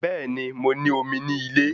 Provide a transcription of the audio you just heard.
Bẹ́ẹ̀ni, mo ní omi ní ilé